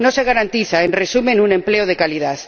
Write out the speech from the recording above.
no se garantiza, en resumen, un empleo de calidad.